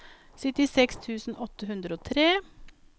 syttiseks tusen åtte hundre og tre